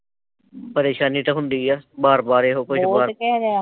ਪਰੇਸ਼ਾਨੀ ਤੇ ਹੁੰਦੀ ਐ, ਵਾਰ ਵਾਰ ਇਹੋ ਕੁਜ